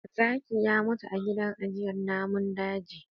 Zaki ya mutu a gidan ajjiyar namun daji